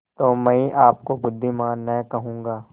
तो मैं आपको बुद्विमान न कहूँगा